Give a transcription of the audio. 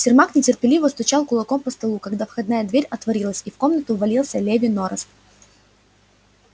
сермак нетерпеливо стучал кулаком по столу когда входная дверь отворилась и в комнату ввалился леви нораст